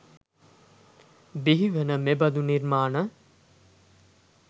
බිහිවන මෙබඳු නිර්මාණ